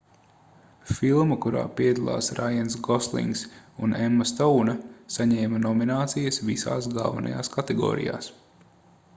filma kurā piedalās raiens goslings un emma stouna saņēma nominācijas visās galvenajās kategorijās